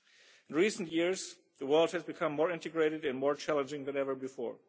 In recent years, the world has become more integrated and more challenging than ever before.